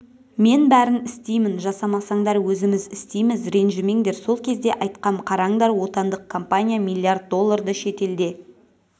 мен бәрін істеймін жасамасаңдар өзіміз істейміз ренжімеңдер сол кезде айтқам қараңдар отандық компания миллиард долларды шетелде